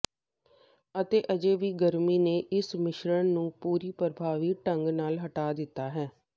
ਅਤੇ ਅਜੇ ਵੀ ਗਰਮੀ ਨੇ ਇਸ ਮਿਸ਼ਰਣ ਨੂੰ ਪੂਰੀ ਪ੍ਰਭਾਵੀ ਢੰਗ ਨਾਲ ਹਟਾ ਦਿੱਤਾ ਹੈ